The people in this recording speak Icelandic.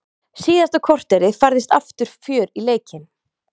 Síðasta korterið færðist aftur fjör í leikinn.